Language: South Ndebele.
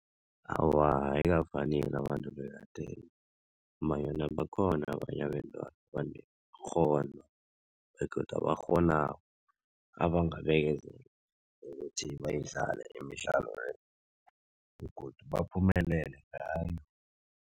Awa, ayikafaneli abantu bekadeni ngombanyana bakhona abanye abentwana abanekghono begodu abakghonako, abangabekezela ukuthi bayidlale imidlalo le begodu baphumelele ngayo.